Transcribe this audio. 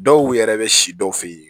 Dɔw yɛrɛ bɛ si dɔw fɛ ye